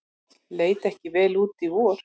Leit ekki vel út í vor